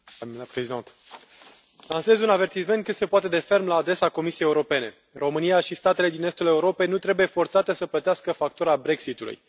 Doamnă președintă, lansez un avertisment cât se poate de ferm la adresa Comisiei Europene. România și statele din estul Europei nu trebuie forțate să plătească factura Brexit ului.